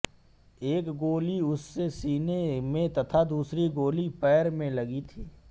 एक गोली उसके सीने में तथा दूसरी गोली पैर में लगी थी